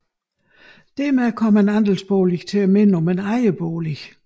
Dermed kom en andelsbolig til at minde om en ejerbolig